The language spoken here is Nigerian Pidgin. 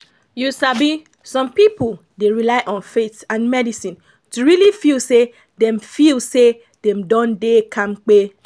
you sabi some people dey rely on faith and medicine to really feel say dem feel say dem don dey kampe.